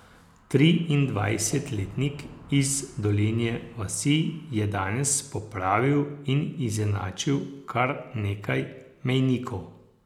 Triindvajsetletnik iz Dolenje vasi je danes popravil in izenačil kar nekaj mejnikov.